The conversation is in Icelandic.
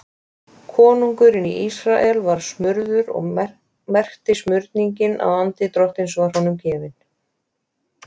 Konungurinn í Ísrael var smurður og merkti smurningin að andi Drottins var honum gefinn.